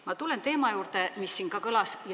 Ma tulen teema juurde, mis siin juba kõlas.